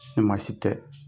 Ɲuma si tɛ.